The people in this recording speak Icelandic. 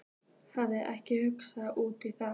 Hafði ekki hugsað út í það.